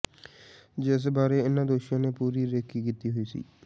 ਜਿਸ ਬਾਰੇ ਇਨਾ ਦੋਸ਼ੀਆਂ ਨੇ ਪੂਰੀ ਰੇਕੀ ਕੀਤੀ ਹੋਈ ਸੀ